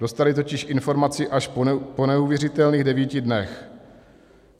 Dostali totiž informaci až po neuvěřitelných devíti dnech.